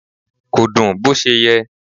Kò dùn bó ṣe yẹ.